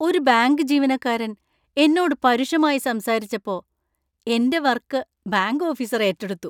ഒരു ബാങ്ക് ജീവനക്കാരൻ എന്നോട് പരുഷമായി സംസാരിച്ചപ്പോ എന്‍റെ വർക് ബാങ്ക് ഓഫീസർ ഏറ്റെടുത്തു.